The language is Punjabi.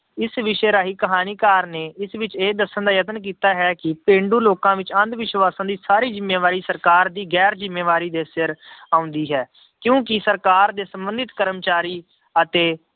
ਇਸ ਵਿਸ਼ੇ ਰਾਹੀਂ ਕਹਾਣੀਕਾਰ ਨੇ ਇਸ ਵਿੱਚ ਇਹ ਦੱਸਣ ਦਾ ਯਤਨ ਕੀਤਾ ਹੈ ਕਿ ਪੇਂਡੂ ਲੋਕਾਂ ਵਿੱਚ ਅੰਧ ਵਿਸ਼ਵਾਸਾਂ ਦੀ ਸਾਰੀ ਜ਼ਿੰਮੇਵਾਰੀ ਸਰਕਾਰ ਦੀ ਗੈਰ ਜ਼ਿੰਮੇਵਾਰੀ ਦੇ ਸਿਰ ਆਉਂਦੀ ਹੈ ਕਿਉਂਕਿ ਸਰਕਾਰ ਦੇ ਸੰਬੰਧਤ ਕਰਮਚਾਰੀ ਅਤੇ